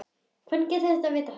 Hvernig getur þú vitað þetta?